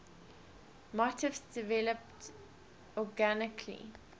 motifs developed organically